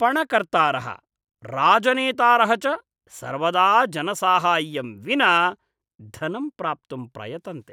पणकर्तारः, राजनेतारः च सर्वदा जनसाहाय्यं विना धनं प्राप्तुं प्रयतन्ते।